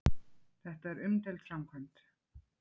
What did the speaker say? Þetta er umdeild framkvæmd